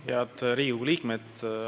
Head Riigikogu liikmed!